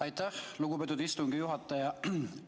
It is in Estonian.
Aitäh, lugupeetud istungi juhataja!